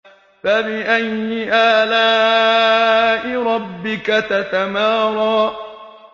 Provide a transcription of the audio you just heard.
فَبِأَيِّ آلَاءِ رَبِّكَ تَتَمَارَىٰ